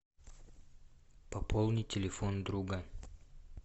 пополнить телефон друга